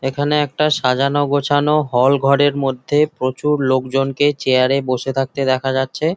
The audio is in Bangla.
এখানে সাজানো গোছানো হল ঘরের মধ্যে প্রচুর লোকজনকে চেয়ার এ বসে থাকতে দেখা যাচ্ছে।